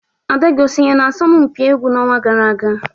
ada gị o sonye n'asọmpi egwu n'ọnwa gara aga